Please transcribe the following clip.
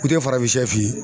Ku te farafinsɛ f'i ye